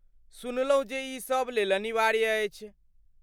सुनलहुँ जे ई सभ लेल अनिवार्य अछि।